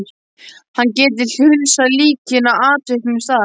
Hann gæti huslað líkin á afviknum stað.